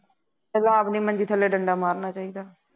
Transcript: ਪਹਿਲਾ ਆਪਦੀ ਮੰਜ਼ੀ ਥੱਲੇ ਡੰਡਾ ਮਾਰਨਾ ਚਾਹੀਦਾ